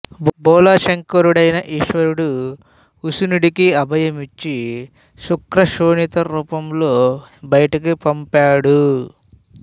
బోళాశంకరుడైన ఈశ్వరుడు ఉశనుడికి అభయం ఇచ్చి శుక్ర శోణిత రూపంలో బయటకు పంపాడు